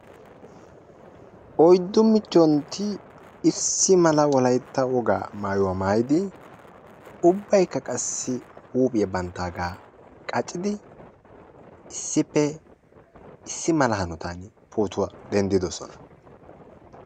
Oyddu michchontti issi mala wolaytta wogaa maayuwaa maayidi ubbayikka qassi huuphphiyaa banttaagaa qaccidi issippe issi mala hanotaani pootuwaa denddidosona.